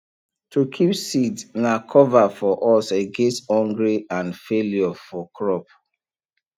to keep seed na cover for us against hungry and failure for crop